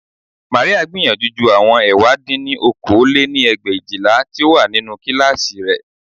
Màríà gbìyànjú ju àwọn ẹ̀wá dín ní okòó lé-ní ẹgbẹ̀éjìlá tí ó wà nínú kíláàsì rẹ̀